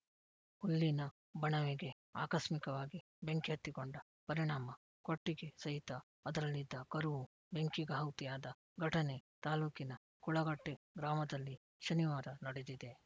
ಹುಲ್ಲಿನ ಬಣವೆಗೆ ಆಕಸ್ಮಿಕವಾಗಿ ಬೆಂಕಿ ಹತ್ತಿಕೊಂಡ ಪರಿಣಾಮ ಕೊಟ್ಟಿಗೆ ಸಹಿತ ಅದರಲ್ಲಿದ್ದ ಕರುವೂ ಬೆಂಕಿಗಾಹುತಿಯಾದ ಘಟನೆ ತಾಲೂಕಿನ ಕುಳಗಟ್ಟೆಗ್ರಾಮದಲ್ಲಿ ಶನಿವಾರ ನಡೆದಿದೆ